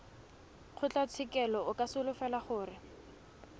kgotlatshekelo o ka solofela gore